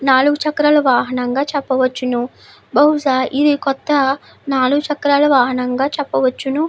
నాలుగు చక్రాల వాహనంగా చెప్పవచ్చును బహుశా ఇది నాలుగు చక్రాల వాహనంగా ఇది చెప్పవచ్చును .